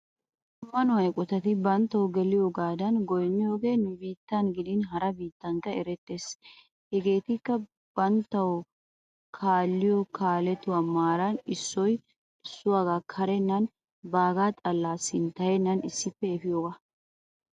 Ammanuwa eqotati banttawu geliyoogaadan goynniyoogee nu biittan giidin hara biittatunikka erettees. Hegetikka banttawu kaalliyoo kaaletuwa marani issoy issuwaga kaarennaninne bagaa xala sinttayeenan issippe effiyoogaa.